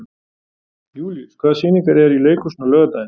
Júlíus, hvaða sýningar eru í leikhúsinu á laugardaginn?